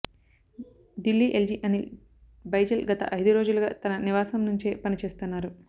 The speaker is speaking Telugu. ఢిల్లీ ఎల్జీ అనిల్ బైజల్ గత ఐదు రోజులుగా తన నివాసం నుంచే పని చేస్తున్నారు